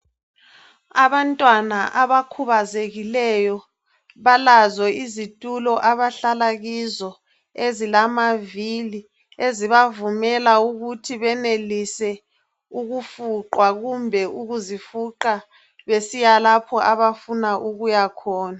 Abantwana abakhubazekileyo balazo izitulo abahlala kizo ezilamavili, ezibavumela ukuthi benelise ukufuqwa kumbe ukuzifuqa besiya lapho abafuna ukuya khona.